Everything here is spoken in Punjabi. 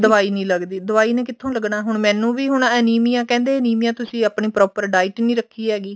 ਦਵਾਈ ਨੀ ਲੱਗਦੀ ਦਵਾਈ ਨੇ ਕਿੱਥੋਂ ਲੱਗਣਾ ਮੈਨੂੰ ਵੀ ਹੁਣ ਅਨੀਮੀਆ ਕਹਿੰਦੇ ਅਨੀਮੀਆ ਤੁਸੀਂ ਆਪਣੀ proper diet ਨੀ ਰੱਖੀ ਹੈਗੀ